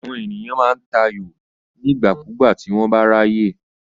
Àwọn ènìyàn máa ń ta ayò nígbàkúùgbà tí wọ́n bá ráyè.